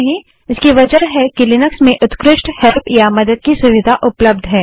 क्योंकि लिनक्स में उत्कृष्ट ऑनलाइन हेल्प या मदद की सुविधा उपलब्ध है